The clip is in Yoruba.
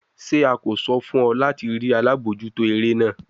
Ṣe a ko sọ fun ọ lati rii alabojuto ere naa?